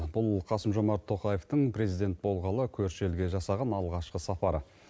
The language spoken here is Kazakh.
бұл қасым жомарт тоқаевтың президент болғалы көрші елге жасаған алғашқы сапары